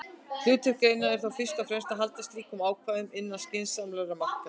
Hlutverk greinarinnar er þó fyrst og fremst að halda slíkum ákvæðum innan skynsamlegra marka.